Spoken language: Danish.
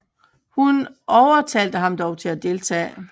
Hun overtalte ham dog til at deltage